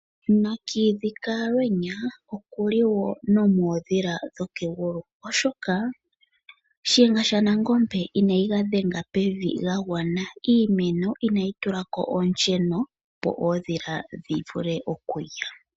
Nakiidhi kaalweenya okuli wo nomoondhila dhokegulu oshoka Shiyenga shaNangombe inayi ga dhenga pevi ga gwana. Iimeno inayi tula ko oonsheno opo oondhila shivule okulya.